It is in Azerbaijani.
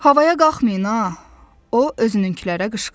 Havaya qalxmayın ha, o özününkülərə qışqırdı.